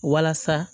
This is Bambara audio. Walasa